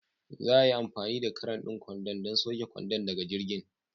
Za a yi amfani da cran ɗin kwandon don sauke kwandon daga jirgin.